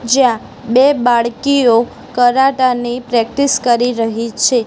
જ્યાં બે બાળકીઓ કરાટા ની પ્રેક્ટિસ કરી રહી છે.